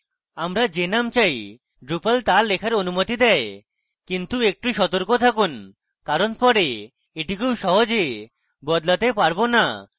আমরা যে name চাই drupal তা লেখার অনুমতি দেয় কিন্তু একটু সতর্ক থাকুন কারণ পরে এটি খুব সহজে বদলাতে পারবো না